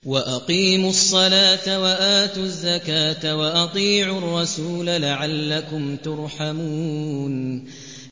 وَأَقِيمُوا الصَّلَاةَ وَآتُوا الزَّكَاةَ وَأَطِيعُوا الرَّسُولَ لَعَلَّكُمْ تُرْحَمُونَ